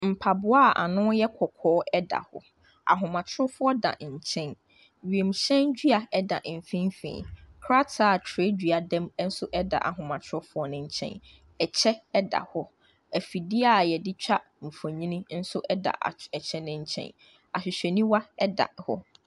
Mpaboa a ano no yɛ kɔkɔɔ da, ahomatrofo da ne nkyɛn, wiemhyɛn dua da mfimfin, krataa a twerɛdua da mu nso da ahomtrofo ne nkyɛn, kyɛ da hɔ, afidie a yɛde twa mfonini nso da kyɛ ne nkyɛn, ahwehwɛniwa da hɔ.